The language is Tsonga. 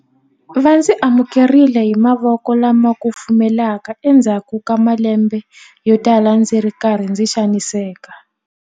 Va ndzi amukerile hi mavoko lama kufumelaka endzhaku ka malembe yotala ndzi ri karhi ndzi xaniseka.